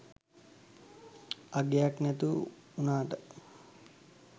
අගයක් නැති උනාට